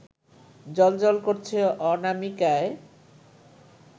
জ্বলজ্বল করছে অনামিকায়